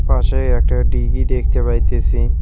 পাশেই একটা ডিগি দেখতে পাইতেছি।